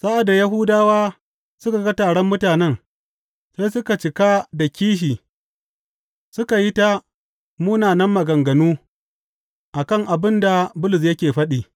Sa’ad da Yahudawa suka ga taron mutanen, sai suka cika da kishi suka yi ta munanan maganganu a kan abin da Bulus yake faɗi.